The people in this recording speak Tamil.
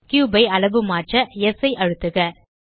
கியூப் ஐ அளவுமாற்ற ஸ் ஐ அழுத்துக